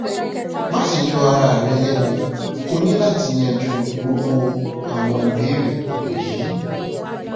maṣe yọ ara rẹ lẹnu o ni lati yanju gbogbo awọn ibeere wọnyi